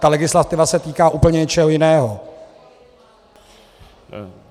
Ta legislativa se týká úplně něčeho jiného.